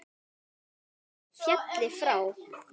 Vinur þó félli frá.